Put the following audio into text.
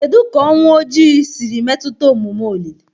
Kedu ka Ọnwụ Ojii siri metụta omume olili?